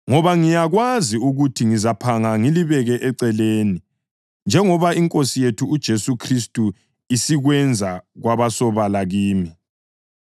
ngoba ngiyakwazi ukuthi ngizaphanga ngilibeke eceleni, njengoba iNkosi yethu uJesu Khristu isikwenze kwabasobala kimi.